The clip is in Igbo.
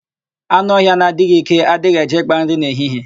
Anụ ọhịa na-adịghị íké, adịghị eje ị́kpā nri n'ehihie.